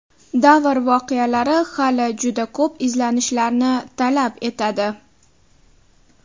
Davr voqealari hali juda ko‘p izlanishlanishlarni talab etadi.